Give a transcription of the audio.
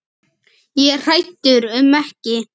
Ég er hræddur um ekki.